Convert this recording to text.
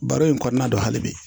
Baro in kɔnɔna na hali bi